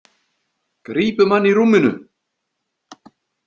Grípum hann í rúminu.